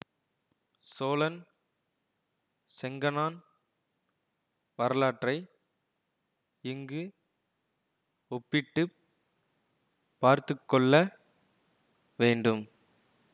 சோழன் செங்கணான் வரலாற்றை இங்கு ஒப்பிட்டு பார்த்து கொள்ள வேண்டும்